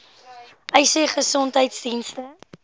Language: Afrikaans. uys sê gesondheidsdienste